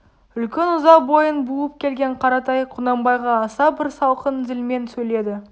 үлкен ыза бойын буып келген қаратай құнанбайға аса бір салқын зілмен сөйледі